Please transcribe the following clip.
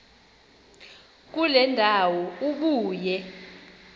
kule ndawo ubuye